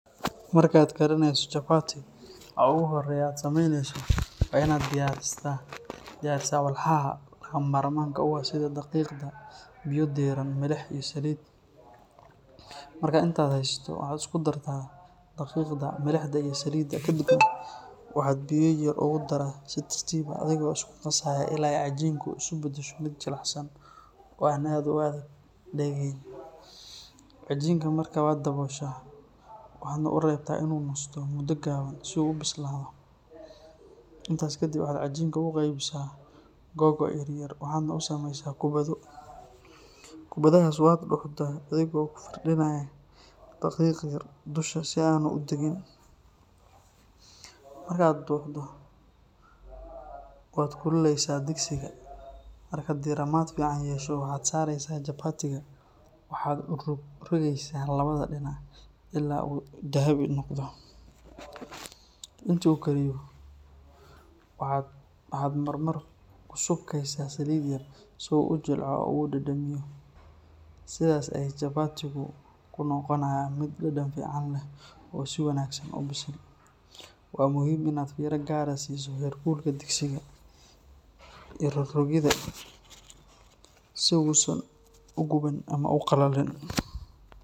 Markaad karinayso chapati, waxa ugu horreeya ee aad samaynayso waa inaad diyaarisaa walxaha lagama maarmaanka u ah sida daqiiqda, biyo diiran, milix iyo saliid. Marka aad intaas haysato, waxaad isku dartaa daqiiqda, milixda iyo saliidda kadibna waxaad biyo yar yar ugu daraa si tartiib ah adigoo isku qasaya ilaa ay cajiinku isu beddesho mid jilicsan oo aan aad u dheg dhegayn. Cajiinka markaa waad dabooshaa waxaadna u reebtaa inuu nasto muddo gaaban si uu u bislaado. Intaas kadib waxaad cajiinka u qaybisaa googo’ yaryar waxaadna u samaysaa kubbado. Kubbadahaas waad duxdaa adigoo ku firdhinaya daqiiq yar dusha si aanu u dhegin. Marka aad duxdo waad kululeysaa digsiga, markuu diirimaad fiican yeesho waxaad saaraysaa chapati-ga waxaadna u rog rogaysaa labada dhinac ilaa uu dahabi noqdo. Intii uu kariyo, waxaad marmar ku subkaysaa saliid yar si uu u jilco oo u dhadhamiyo. Sidaas ayey chapati-gaagu ku noqonayaa mid dhadhan fiican leh oo si wanaagsan u bisil. Waa muhiim inaad fiiro gaar ah siiso heer kulka digsiga iyo rog-rogidda si uusan u guban ama u qallalin.